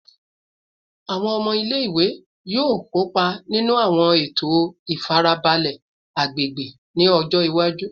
Awọn ọmọ ile-iwe yoo kopa ninu awọn eto ifarabalẹ agbegbe ni ọjọ iwaju